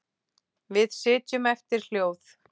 Við sitjum eftir hljóð.